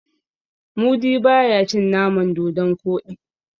mudi ba ya cin naman dodon Koɗi